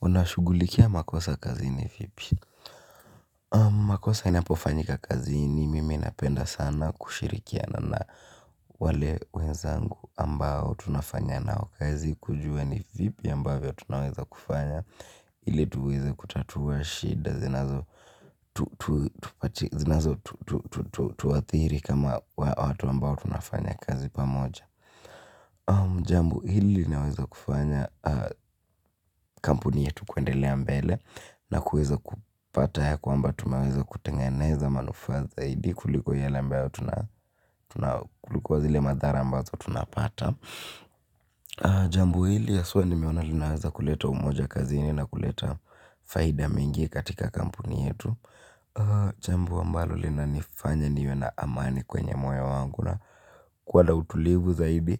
Unashughulikia makosa kazini vipi? Makosa inapofanyika kazi ni mimi napenda sana kushirikiana na wale wenzangu ambao tunafanya nao kazi kujua ni vipi ambavyo tunaweza kufanya ili tuweze kutatuwa shida zinazo tuathiri kama watu ambao tunafanya kazi pamoja. Jambo hili linaweza kufanya kampuni yetu kuendelea mbele na kuweza kupata ya kwamba tunaweza kutengeneza manufaa zaidi kuliko yale ambayo tuna kuliko zile madhara ambazo tunapata jambo hili haswa nimeona linaweza kuleta umoja kazini na kuleta faida mingi katika kampuni yetu, jambo ambalo linanifanya niwe na amani kwenye moyo wangu na kuwa na utulivu zaidi.